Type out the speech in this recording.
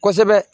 Kosɛbɛ